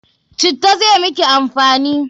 Citta zai miki amfani!